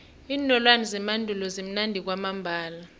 iinolwana zemandulo zimnandi kwamambala